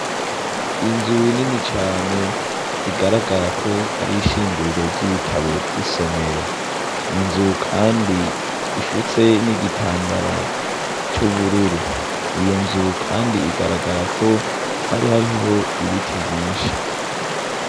inzu nini cane igaragara ko ari ishinguriro ry'ibitabo vy'isomero ni nzu kandi ifutse n'igitambara c'ubururu ni iyo nzu kandi igaragara ko hari hariho ibiti vyinshi